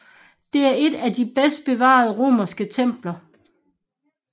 Det er et af de bedst bevarede romerske templer